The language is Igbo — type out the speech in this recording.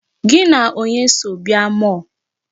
Gị na onye so bịa mall?